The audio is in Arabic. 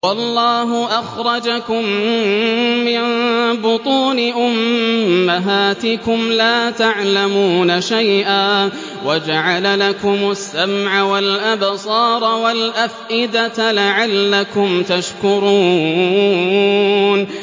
وَاللَّهُ أَخْرَجَكُم مِّن بُطُونِ أُمَّهَاتِكُمْ لَا تَعْلَمُونَ شَيْئًا وَجَعَلَ لَكُمُ السَّمْعَ وَالْأَبْصَارَ وَالْأَفْئِدَةَ ۙ لَعَلَّكُمْ تَشْكُرُونَ